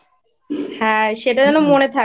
হ্যাঁ সেটা যেন মনে থাকে।